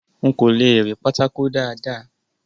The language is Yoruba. N kò le rí pátákó dáàda.